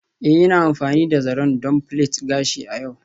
Ee, Ina amfani da zaren don plait gashi a yau.